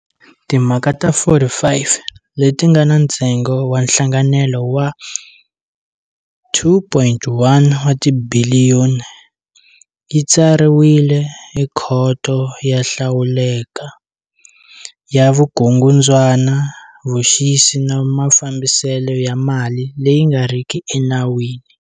Timhaka ta 45, leti nga na ntsengo wa nhlangenelo wa R2.1 wa tibiliyoni, yi tsariwile eKhoto yo Hlawuleka ya Vukungundzwana, Vuxisi na Mafambiselo ya Mali leyi nga riki Enawini.